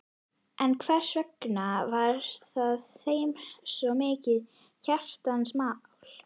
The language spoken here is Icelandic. En hversvegna var það þeim svo mikið hjartans mál?